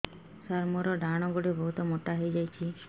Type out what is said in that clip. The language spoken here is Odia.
ସାର ମୋର ଡାହାଣ ଗୋଡୋ ବହୁତ ମୋଟା ହେଇଯାଇଛି